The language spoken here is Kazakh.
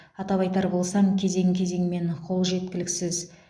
атап айтар болсам кезең кезеңмен қол жеткіліксіз